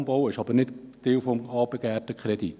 Dieser Umbau ist jedoch nicht Teil des beantragten Kredits.